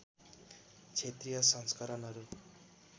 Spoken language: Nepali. क्षेत्रीय संस्करणहरू